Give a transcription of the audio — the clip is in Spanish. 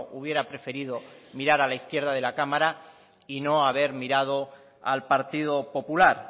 hubiera preferido mirar a la izquierda de la cámara y no haber mirado al partido popular